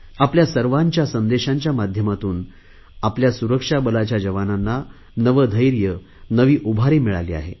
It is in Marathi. आपल्या सर्वांच्या संदेशांच्या माध्यमातून आपल्या सुरक्षा बलाच्या जवानांना नवे धैर्य नवी उभारी मिळाली आहे